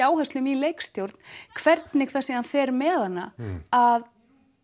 áherslum í leikstjórn hvernig það síðan fer með hana að